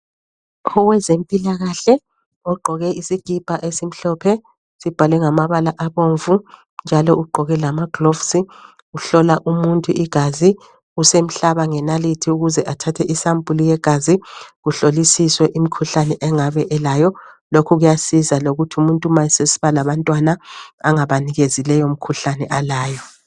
Owezempilakahle ogqoke isikipa esimhlophe sibhalwe ngamabala abomvu njalo ugqoke lama gloves uhlola umuntu igazi usemhlaba ngenalithi ukuze athathe isampulu yegazi kuhlolisiswe imikhuhlane angabe elayo lokhu kuyasiza lokuthi umuntu ma sesiba labantwana anganikezi leyo mikhuhlane alayo.